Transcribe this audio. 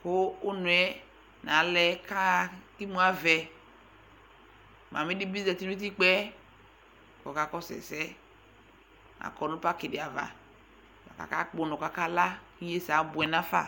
ku unɔ yɛ alɛ ka ko ɛdibɩ zetinu utikpaɛ ku ɔkakɔsu ɛyɛ nu paki dɩ ava kaka kpɔ unɔ di la ku ɩnye sɛ aboɛ nafa